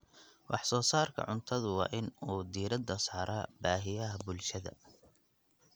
Wax-soo-saarka cuntadu waa in uu diiradda saaraa baahiyaha bulshada.